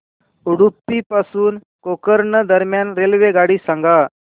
उडुपी पासून गोकर्ण दरम्यान रेल्वेगाडी सांगा